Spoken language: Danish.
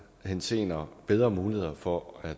henseender bedre muligheder for at